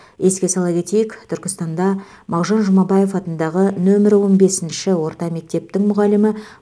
еске сала кетейік түркістанда мағжан жұмабаев атындағы нөмірі он бесінші орта мектептің мұғалімі